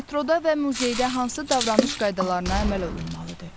Metroda və muzeydə hansı davranış qaydalarına əməl olunmalıdır?